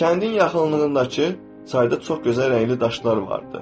Kəndin yaxınlığındakı çayda çox gözəl rəngli daşlar vardı.